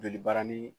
Joli barani